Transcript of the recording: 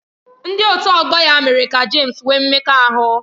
Ndị otu ọgbọ ya mere ka James nwee mmekọahụ.